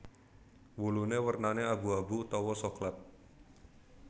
Wulune wernane abu abu utawa soklat